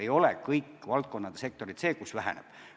Ei ole nii, et kõigis valdkondades ja sektorites personal väheneb.